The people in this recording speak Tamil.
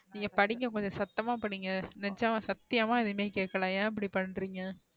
நீங்க படிங்க கொஞ்சம் சத்தமா படிங்க நெஜமா சத்தியமாஎதுவும்ஏ கேக்கல ஏன் இப்டி பண்றீங்க,